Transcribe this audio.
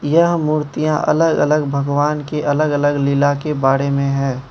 यह मूर्तियां अलग अलग भगवान के अलग अलग लीला के बारे में है।